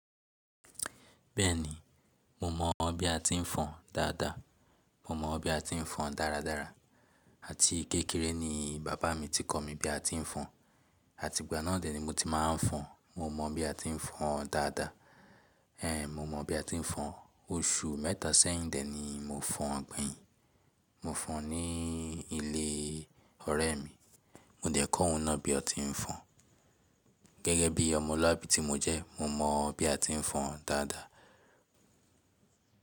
Bẹ́ẹ̀ni, mo mọ̀ bí a ti ń fọn dáadáa. Mo mọ̀ bí a ti ń fọn dáradára. Àti kékeré ni bàbá mi ti kọ́ mi bí a ti ń fọn. Àti ìgbà náà dè ní mo ti máa ń fọn. Mo mọ̀ bí a ti ń fọn dáadáa. Ée, mo mọ bí a ti ń fọn. Oṣù mẹ́ta sẹ́yìn dè ni mo fọn gbeyin. Mo fọn ní ilé ọ̀rẹ́ mi. Mo dẹ̀ kọ́ òun náà bí a ti ń fọn. Gẹ́gẹ́ bí ọmọlúàbí tí mo jẹ́, mo mọ̀ bí a ti ń fọn dáadáa.